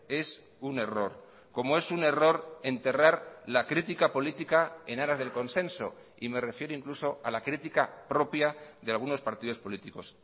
es un error como es un error enterrar la crítica política en aras del consenso y me refiero incluso a la crítica propia de algunos partidos políticos